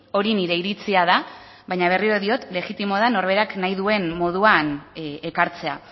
hori nire iritzia da baina berriro diot legitimoa da norberak nahi duen moduan ekartzea